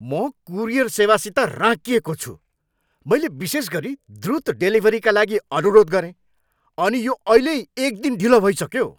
म कुरियर सेवासित राँकिएको छु। मैले विशेष गरी द्रुत डेलिभरीका लागि अनुरोध गरेँ, अनि यो अहिल्यै एकदिन ढिलो भइसक्यो।